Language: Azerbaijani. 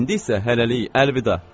İndi isə hələlik, əlvida!